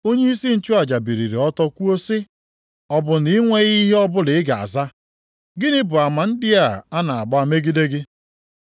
Onyeisi nchụaja biliri ọtọ kwuo sị, “Ọ bụ na ị nweghị ihe ọbụla ị ga-aza? Gịnị bụ ama ndị a a na-agba megide gị?”